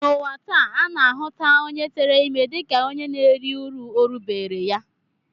N'ụwa taa, a na-ahụta onye tere ime dịka onye na-eri uru orubeere ya